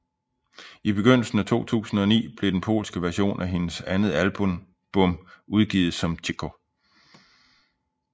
I begyndelsen af 2009 blev den polske version af hendes andet album udgivet som Cicho